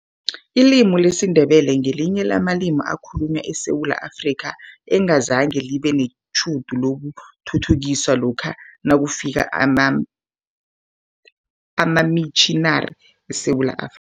Ilimi lesiNdebele ngelinye lamalimi ekhalunywa eSewula Afrika, engazange libe netjhudu lokuthuthukiswa lokha nakufika amamitjhinari eSewula Afri